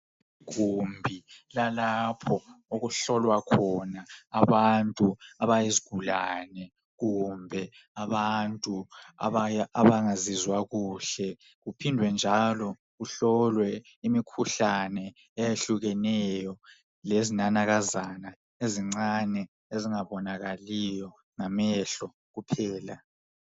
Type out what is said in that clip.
Igumbi lalapho okuhlolwa khona abantu abayizigulane kumbe abantu abangazizwa kuhle. Kuphinde njalo kuhlolwe imikhuhlane eyehlukeneyo, lezinanakazana ezingabonakaliyo ngamehlo kuphela.